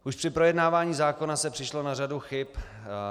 Už při projednávání zákona se přišlo na řadu chyb.